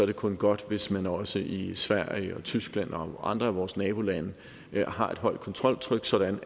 det kun godt hvis man også i sverige og tyskland og andre af vores nabolande har et højt kontroltryk sådan